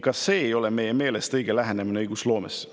Ka see ei ole meie meelest õige lähenemine õigusloomele.